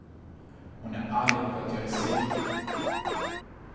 Hon är arg för att jag är sen.